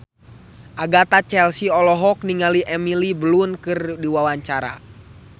Agatha Chelsea olohok ningali Emily Blunt keur diwawancara